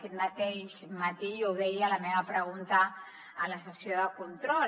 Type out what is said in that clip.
aquest mateix matí jo ho deia a la meva pregunta a la sessió de control